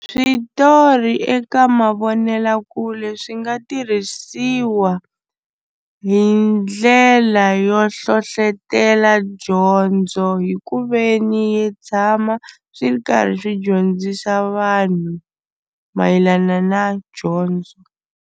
Switori eka mavonelakule swi nga tirhisiwa hi ndlela yo hlohlotelo dyondzo hi ku ve ni yi tshama swi ri karhi swi dyondzisa vanhu mayelana na dyondzo.